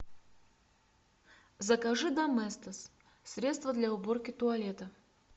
закажи доместос средство для уборки туалета